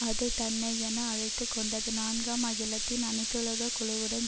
அது தன்னை என அழைத்து கொண்டது நான்காம் அகிலத்தின் அனைத்துலக குழுவுடன்